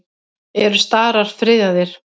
Eru starar friðaðir?